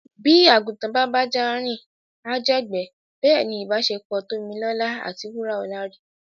Bí àgùntàn bá bájá rìn á jẹ̀gbẹ́. Bẹ́ẹ̀ ni ìbáṣepọ̀ Tómilọ́lá àti Wúràọlá rí.